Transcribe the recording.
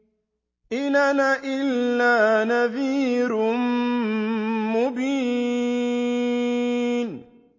إِنْ أَنَا إِلَّا نَذِيرٌ مُّبِينٌ